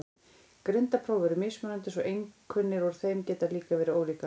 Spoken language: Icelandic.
Greindarpróf eru mismunandi svo einkunnir úr þeim geta líka verið ólíkar.